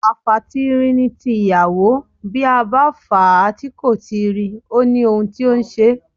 Àfàtiiri ni tiyàwó, bí a bá fà á tí kò tiiri, ó ni ohun tó ǹ ṣe é.